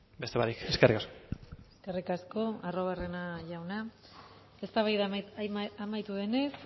beste barik eskerrik asko eskerrik asko arruabarrena jauna eztabaida amaitu denez